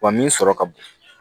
Wa min sɔrɔ ka bon